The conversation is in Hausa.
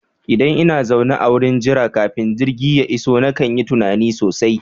Idan ina zaune a wurin jira kafin jirgi ya iso nakan yi tunani sosai